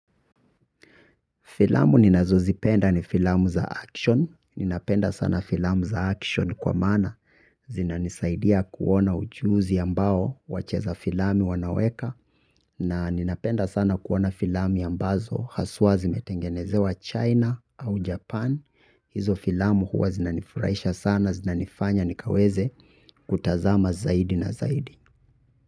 Filamu ninazozipenda ni filamu za action. Ninapenda sana filamu za action kwa maana zinanisaidia kuona ujuzi ambao wacheza filamu wanaweka. Na ninapenda sana kuona filamu ambazo haswaa zimetengenezewa China au Japan. Hizo filamu huwa zinanifurahisha sana zinanifanya nikaweze kutazama zaidi na zaidi.